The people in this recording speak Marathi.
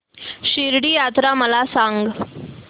शिर्डी यात्रा मला सांग